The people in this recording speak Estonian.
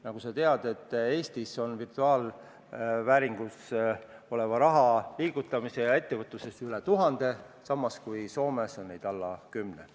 Nagu sa tead, on Eestis virtuaalvääringus oleva raha liigutamise teenuse pakkujaid üle tuhande, samas kui Soomes on neid alla kümne.